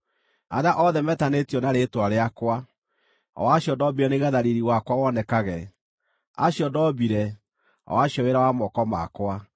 arĩa othe metanĩtio na rĩĩtwa rĩakwa, o acio ndoombire nĩgeetha riiri wakwa wonekage, acio ndoombire, o acio wĩra wa moko makwa.”